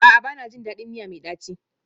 A'a, ba na jin daɗin miya mai ɗaci